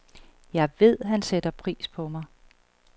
Jeg ved, han sætter pris på mig.